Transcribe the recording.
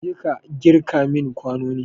Jeka kirga mun kwanonin!